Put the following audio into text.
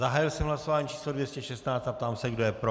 Zahájil jsem hlasování číslo 216 a ptám se, kdo je pro.